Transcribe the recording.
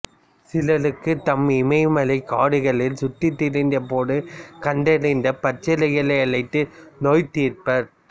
சிலருக்கு தாம் இமயமலைக் காடுகளில் சுற்றித் திரிந்த போது கண்டறிந்த பச்சிலைகளை அளித்து நோய் தீர்ப்பார்